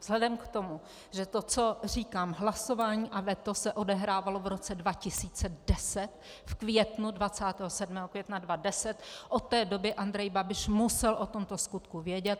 Vzhledem k tomu, že to, co říkám, hlasování a veto se odehrávalo v roce 2010 v květnu, 27. května 2010, od té doby Andrej Babiš musel o tomto skutku vědět.